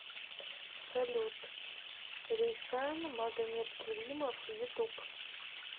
салют рейсан магомедкеримов ютуб